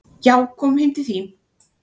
"""Já, komum heim til þín."""